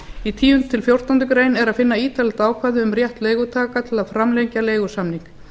í tíunda til fjórtándu grein er að finna ítarlegt ákvæði um rétt leigutaka til að framlengja leigusamning